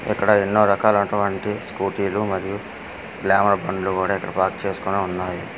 ఇక్కడ ఎన్నో రకాలటువంటి స్కూటీలు మరియు గ్లామర్ బండ్లు ఇక్కడ పార్క్ చేసుకొని ఉన్నాయి.